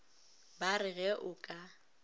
ba re ge o ka